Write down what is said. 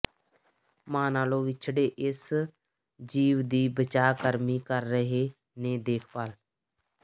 ਮਾਂ ਨਾਲੋਂ ਵਿਛੜੇ ਇਸ ਜੀਵ ਦੀ ਬਚਾਅ ਕਰਮੀ ਕਰ ਰਹੇ ਨੇ ਦੇਖਭਾਲ